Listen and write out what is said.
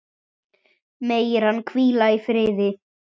Megir hann hvíla í friði.